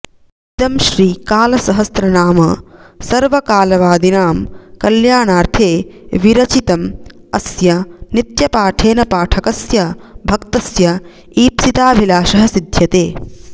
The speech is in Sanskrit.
इदं श्री कालसहस्रनाम सर्व कालवादिनां कल्याणार्थे विरचितं अस्य नित्यपाठेन पाठकस्य भक्तस्य ईप्सिताभिलाषः सिद्ध्यते